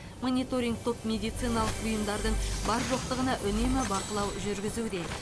мониторинг топ медициналық бұйымдардың бар жоқтығына үнемі бақылау жүргізуде